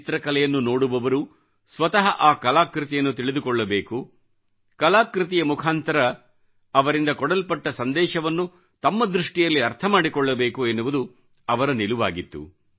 ಚಿತ್ರಕಲೆಯನ್ನು ನೋಡುವವರು ಸ್ವತಃ ಆ ಕಲಾಕೃತಿಯನ್ನು ತಿಳಿದುಕೊಳ್ಳಬೇಕುಕಲಾಕೃತಿಯ ಮುಖಾಂತರ ಅವರಿಂದ ಕೊಡಲ್ಪಟ್ಟ ಸಂದೇಶವನ್ನು ತಮ್ಮ ದೃಷ್ಟಿಯಲ್ಲಿ ಅರ್ಥಮಾಡಿಕೊಳ್ಳಬೇಕು ಎನ್ನುವುದು ಅವರ ನಿಲುವಾಗಿತ್ತು